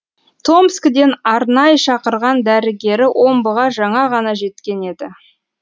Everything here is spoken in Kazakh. томскіден арнай шақырған дәрігері омбыға жаңа ғана жеткен еді